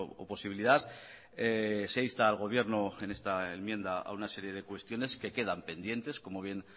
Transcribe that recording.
o posibilidad se insta al gobierno en esta enmienda a una serie de cuestiones que quedan pendientes como bien